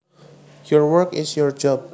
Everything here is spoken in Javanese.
Your work is your job